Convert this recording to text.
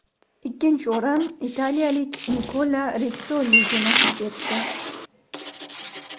Ikkinchi o‘rin italiyalik Nikola Ritssoliga nasib etdi.